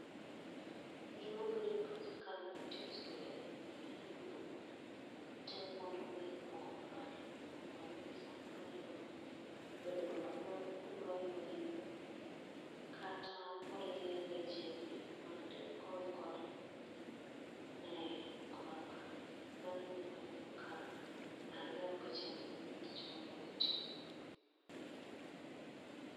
Gimabire pacha kaneno tijni en ni aneno ng'ama temo mondo mi ogo abal, mondo mi samoro nyalo bedo dwaro nodwa yweyo. Kata orie lechene mag del koikore ne go abal. Manegima aneno ka ang'iyo picha ni gi tich ma ng'ani timo.